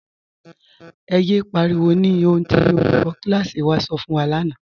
Ẹ̀ yẹ pariwo ni ohun tí olùkọ̀ kílásí wà sọ̀ fun wa lána.